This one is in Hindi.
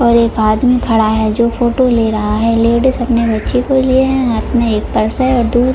और एक आदमी खड़ा है जो फोटो ले रहा है लेडीज अपने बच्चे को लिए है और हाथ में एक पर्स है। और दूर --